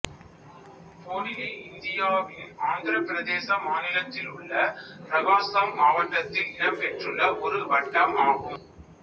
போடிலி இந்தியாவின் ஆந்திரப்பிரதேச மாநிலத்திலுள்ள பிரகாசம் மாவட்டத்தில் இடம்பெற்றுள்ள ஒரு வட்டம் ஆகும்